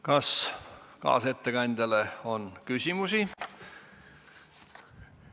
Kas kaasettekandjale on küsimusi?